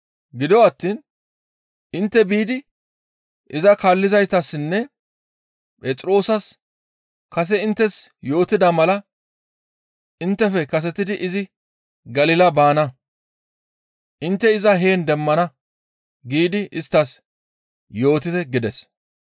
Gido attiin intte biidi iza kaallizaytassinne Phexroosas kase inttes yootida mala inttefe kasetidi izi Galila baana. Intte iza heen demmana giidi isttas yootite» gides.